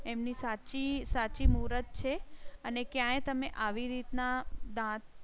એમની સાચી સાચી મૂરતછે અને ક્યાં તમ ને આવી રીત ના દાંત